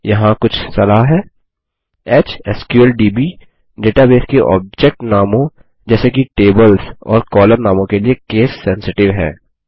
यहाँ कुछ सलाह है एचएसक्यूएलडीबी डेटाबेस के ऑब्जेक्ट नामों जैसे कि टेबल्स और कॉलम नामों के लिए केस सेंसटिव है